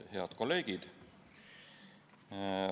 Head kolleegid!